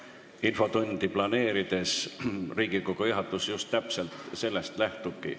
Infotundi planeerides Riigikogu juhatus just sellest lähtubki.